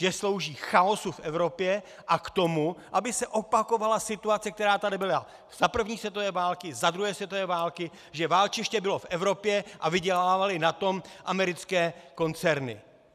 Že slouží chaosu v Evropě a k tomu, aby se opakovala situace, která tady byla za první světové války, za druhé světové války, že válčiště bylo v Evropě a vydělávaly na tom americké koncerny.